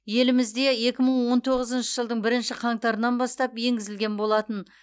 елімізде екі мың он тоғызыншы жылдың бірінші қаңтарынан бастап енгізілген болатын